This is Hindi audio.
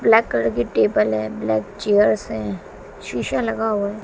ब्लैक कलर के टेबल है। ब्लैक चेयर्स है। शीशा लगा हुआ है।